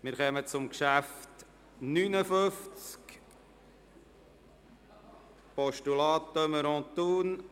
Wir kommen zum Traktandum 59, dem Postulat de Meuron, Thun.